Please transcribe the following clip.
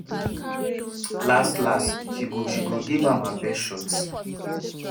las-las she go she go give am her best shot.